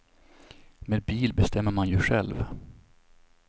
Med bil bestämmer man ju själv.